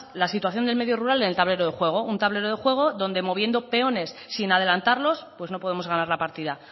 la situación del medio rural en el tablero de juego un tablero de juego donde moviendo peones sin adelantarlos pues no podemos ganar la partida